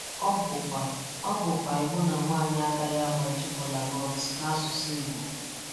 Ọ bụkwa Ọ bụkwa iwu na nwanyị agaghị agbaji kolanut n'asụsụ Igbo.